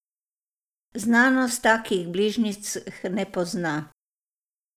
Znanost takih bližnjic ne pozna.